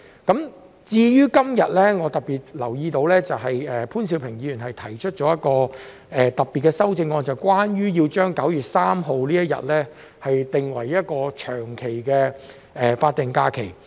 今天我特別留意到潘兆平議員提出了一項特別的修正案，要將9月3日定為一個長期的法定假期。